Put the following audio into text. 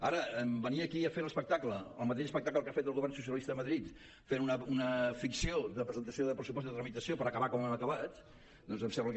ara venir aquí a fer l’espectacle el mateix espectacle que ha fet el govern socialista a madrid fent una ficció de presentació de pressupostos i de tramitació per acabar com han acabat doncs em sembla que